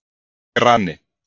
Grani